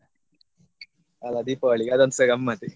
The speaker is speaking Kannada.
ಅಲ್ಲಾ ದೀಪಾವಳಿಗೆ ಅದೊಂದುಸ ಗಮ್ಮತ್ತೆ.